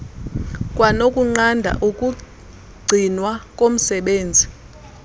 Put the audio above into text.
kwanokunqanda ukugcinwa komsebenzi